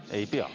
Ei pea.